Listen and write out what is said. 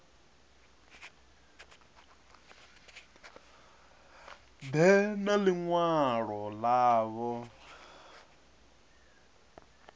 ḓe na ḽi ṅwalo ḽavho